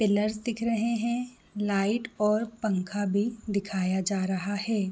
Pillars दिख रहे है लाइट और पंखा भी दिखाया जा रहा है।